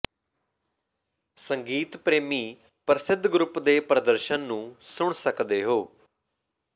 ਸੰਗੀਤ ਪ੍ਰੇਮੀ ਪ੍ਰਸਿੱਧ ਗਰੁੱਪ ਦੇ ਪ੍ਰਦਰਸ਼ਨ ਨੂੰ ਸੁਣ ਸਕਦੇ ਹੋ